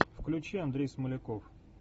включи андрей смоляков